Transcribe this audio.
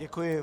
Děkuji.